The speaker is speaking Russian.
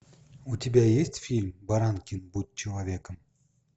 у тебя есть фильм баранкин будь человеком